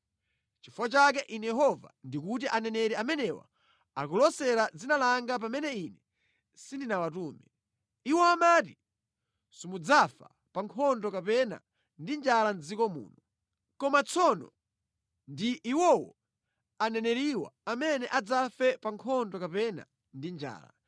Nʼchifukwa chake Ine Yehova ndikuti aneneri amenewa akulosera mʼdzina langa pamene Ine sindinawatume. Iwo amati simudzafa pa nkhondo kapena ndi njala mʼdziko muno. Koma tsono ndi iwowo, aneneriwa amene adzafe pa nkhondo kapena ndi njala.